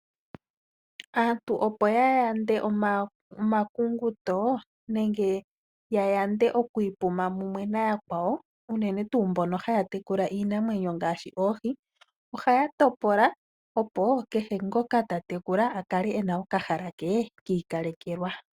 Aantu opo ya yande omakuyunguto nenge ya yande oku ipuma mumwe nayakwawo unene tuu mbono haya tekula iinamwenyo ngaashi oohi ohaya topola opo kehe ngoka ta tekula a kale e na okahala ke ki ikalekelwa.